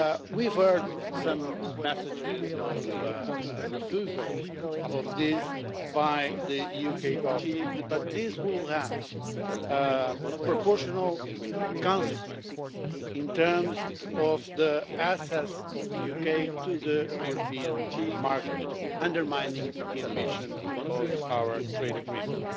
We've heard some messages of refusal of this by the UK Government, but this will have proportional consequences in terms of the access of the UK to the European market, undermining the ambition of our trade agreement.